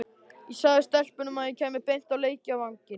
Ég sagði stelpunum að ég kæmi beint á leikvanginn.